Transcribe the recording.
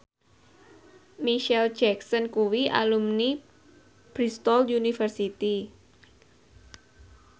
Micheal Jackson kuwi alumni Bristol university